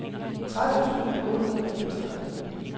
tredive tusind otte hundrede og fireogtredive